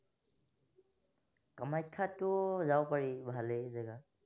কামাখ্যাতটো যাব পাৰি, ভালেই জেগা